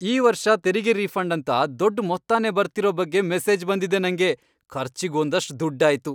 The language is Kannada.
ಈ ವರ್ಷ ತೆರಿಗೆ ರೀಫಂಡ್ ಅಂತ ದೊಡ್ಡ್ ಮೊತ್ತನೇ ಬರ್ತಿರೋ ಬಗ್ಗೆ ಮೆಸೇಜ್ ಬಂದಿದೆ ನಂಗೆ.. ಖರ್ಚಿಗ್ ಒಂದಷ್ಟ್ ದುಡ್ಡಾಯ್ತು!